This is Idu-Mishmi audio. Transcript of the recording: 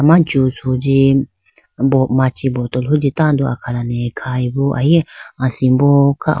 Juice hunji machi bottol hunji tando akhalane kha bo.